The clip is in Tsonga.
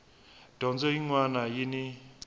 dyondzo yin wana na yin